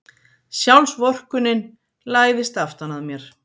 Sjálfsvorkunnin læðist aftan að mér.